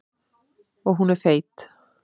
Og hún er feit.